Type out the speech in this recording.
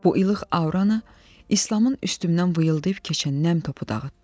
Bu ilıq auranı İslamın üstümdən vıyıldayıb keçən nəm topu dağıtdı.